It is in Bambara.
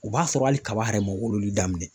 U b'a sɔrɔ hali kaba yɛrɛ ma wololi daminɛ